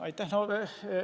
Aitäh!